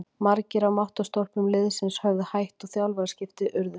Margir af máttarstólpum liðsins höfðu hætt og þjálfaraskipti urðu.